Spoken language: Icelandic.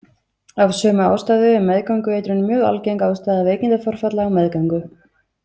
Af sömu ástæðu er meðgöngueitrun mjög algeng ástæða veikindaforfalla á meðgöngu.